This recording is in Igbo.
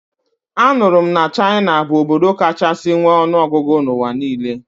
Anụrụ m na China bụ obodo kachasi nwe ọnụọgụgụ n'ụwa niile